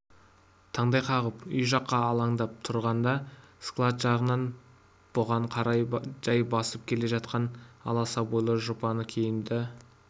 таңдай қағып үй жаққа алаңдап тұрғанда склад жағынан бұған қарай жай басып келе жатқан аласа бойлы жұпыны киімді